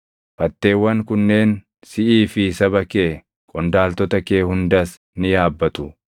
Fatteewwan kunneen siʼii fi saba kee, qondaaltota kee hundas ni yaabbatu.’ ”